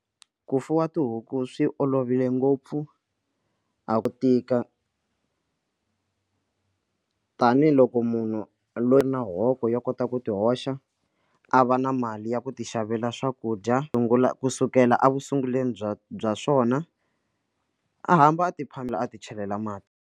Ku fuwa tihuku swi olovile ngopfu a ku tika tanihiloko munhu loyi na hoko yo kota ku ku ti hoxa a va na mali ya ku ti xavela swakudya sungula kusukela a ekusunguleni bya bya swona a hamba a ti phamela a ti chelela mati.